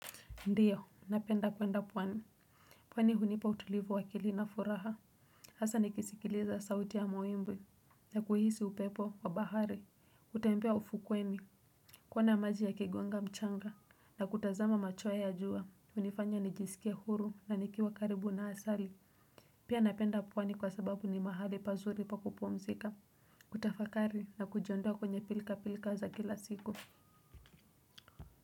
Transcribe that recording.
Ndiyo napenda kwenda pwani pwani hunipa utulivu wa akili na furaha hasa nikisikiliza sauti ya mawimbi na kuhisi upepo wa bahari utembea ufukuwemi kuona maji ya kegonga mchanga na kutazama machweo ya ajua unifanya nijisikie huru na nikiwa karibu na asali pia napenda pwani kwa sababu ni mahali pazuri pa kupumzika kutafakari na kujiondoa kwenye pilka pilka za kila siku.